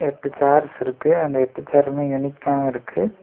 Chairs இருக்கு அந்த எட்டு சேருமே யுனிக்கா இருக்கு.